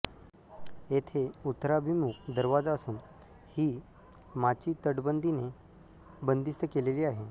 येथे उत्तराभिमुख दरवाजा असून ही माची तटबंदीने बंदिस्त केलेली आहे